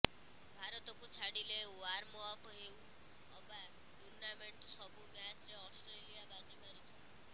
ଭାରତକୁ ଛାଡ଼ିଲେ ୱାର୍ମଅପ୍ ହେଉ ଅବା ଟୁର୍ଣ୍ଣାମେଣ୍ଟ ସବୁ ମ୍ୟାଚ୍ରେ ଅଷ୍ଟ୍ରେଲିଆ ବାଜି ମାରିଛି